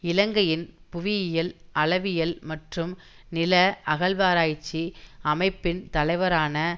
இலங்கையின் புவியியல் அளவியல் மற்றும் நில அகழ்வாராய்ச்சி அமைப்பின் தலைவரான